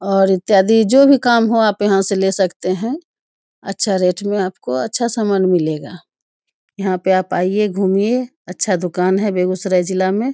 और इत्यादि जो भी काम हो आप यहां से ले सकते है अच्छा रेट में आपको अच्छा सामान मिलेगा यहां पे आप आइए घूमिए अच्छा दुकान है बेगुसराय जिला मे ।